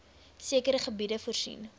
sekere gebiede voorsien